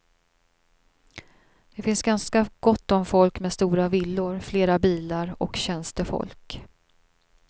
Det finns ganska gott om folk med stora villor, flera bilar och tjänstefolk.